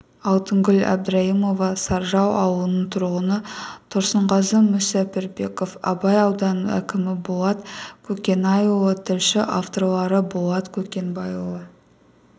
алтынгүл әбдірайымова саржал ауылының тұрғыны тұрсынғазы мүсәпірбеков абай ауданының әкімі болат көкенайұлы тілші авторлары болат көкенайұлы